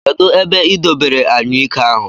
Kedụ ebe I dobere anyụike ahụ?